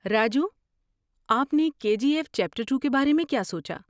راجو، آپ نے کے جی ایف چیپٹر ٹو کے بارے میں کیا سوچا؟